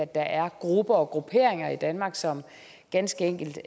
der er grupper og grupperinger i danmark som ganske enkelt